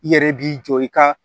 I yɛrɛ b'i jɔ i ka